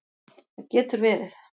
Það getur verið